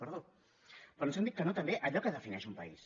però ens han dit que no també a allò que defineix un país